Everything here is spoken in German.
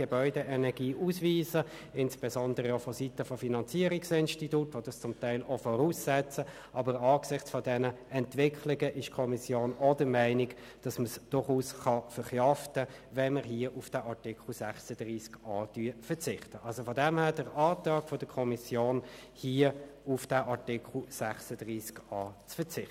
Ich erinnere insbesondere an seinen Beschluss, das ursprünglich vorgesehene Verbot von Ölheizungen in neuen Wohnbauten zu adaptieren beziehungsweise zu streichen.